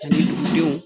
Ani denw